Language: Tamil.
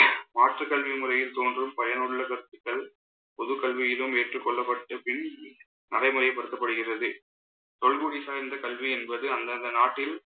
மாற்றுக் கல்வி முறையில் தோன்றும் பயனுள்ள கருத்துக்கள் பொதுக் கல்வியிலும் ஏற்றுக் கொள்ளப்பட்ட பின் நடைமுறைப்படுத்தப்படுகிறது. தொல்குடி சார்ந்த கல்வி என்பது அந்தந்த நாட்டில்